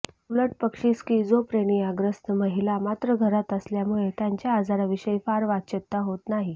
तर उलटपक्षी स्किझोप्रेनियाग्रस्त महिला मात्र घरात असल्यामुळे त्यांच्या आजाराविषयी फार वाच्यता होत नाही